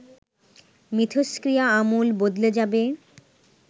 মিথস্ক্রিয়া আমূল বদলে যাবে